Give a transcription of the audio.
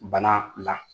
Bana la